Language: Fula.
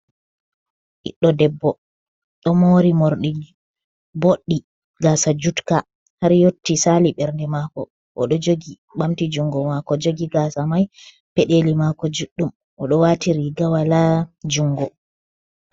Ɓiɗɗo debbo ɗo morɗi boɗɗi gasa judka har yotti sali ɓernde mako, oɗo jogi bamti jungo mako jogi gasa mai, peɗeli mako juɗɗum, oɗo wati riga wala jungo.